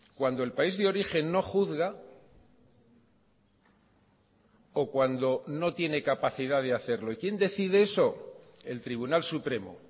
cuando el país de origen no juzga o cuando no tiene capacidad de hacerlo y quién decide eso el tribunal supremo